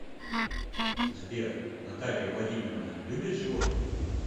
сбер наталья владимировна любит животных